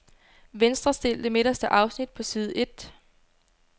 Venstrestil det midterste afsnit på side et.